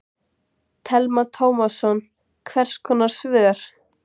Telma Tómasson: Hvers konar svör?